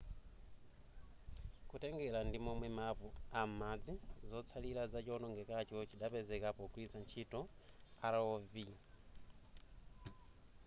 kutengera ndimomwe map a m'madzi zotsallira za chowonongekacho chidapezeka pogwilitsa ntchito rov